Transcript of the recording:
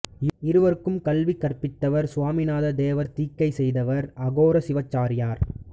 இவருக்குக் கல்வி கற்பித்தவர் சுவாமிநாத தேவர் தீக்கை செய்தவர் அகோர சிவாச்சாரியார்